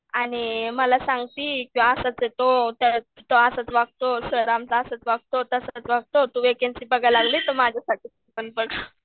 आणि मला संगती की असंच ये तो, सर आमचा असंच वागतो, तसंच वागतो तू वेकेंसी बघायला लागली तू माझ्यासाठी पण बघ